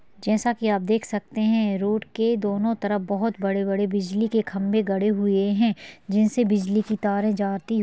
जैसा के आप देख सकते है रोड के दोनों तरफ बोहत बड़े -बड़े बिजली के खम्बे गड़े हुए है जिनसे बिजली की तारें जाती--